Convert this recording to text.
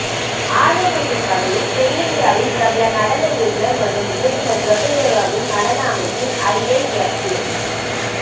ஆர்வமூட்டும் வகையில் தென்னிந்தியாவின் பிரபல நடன இயக்குனர் மற்றும் இயக்குனர் பிரபுதேவாவின் நடன அமைப்பில் ஐஐஎப்ஏ